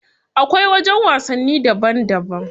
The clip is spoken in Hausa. Akwai wajen wasanni daban daban.